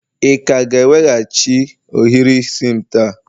ị ka ga-eweghachi ohiri isi'm taa?